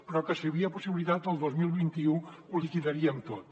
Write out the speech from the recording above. però que si n’hi havia possibilitat el dos mil vint u ho liquidarien tot